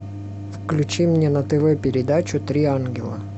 включи мне на тв передачу три ангела